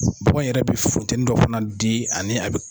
Bɔgo in Yɛrɛ bɛ futɛni dɔ fana di